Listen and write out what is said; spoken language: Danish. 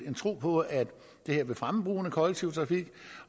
en tro på at det vil fremme brugen af kollektiv trafik